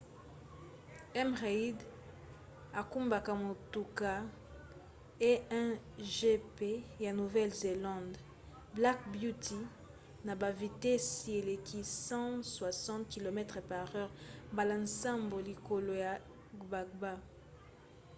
m. reid akumbaka motuka a1gp ya nouvelle-zélande black beauty na bavitesi eleki 160 km/h mbala nsambo likolo ya gbagba